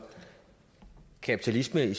eksisteret i